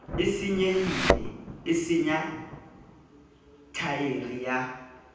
senyehileng e senya thaere ya